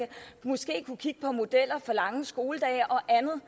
måske kunne kigge på modeller for lange skoledage og andet